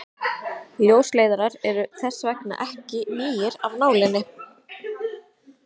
ljósleiðarar eru þess vegna ekki nýir af nálinni